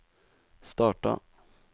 starta